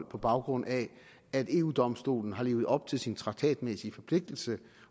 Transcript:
på baggrund af at eu domstolen har levet op til sin traktatmæssige forpligtelse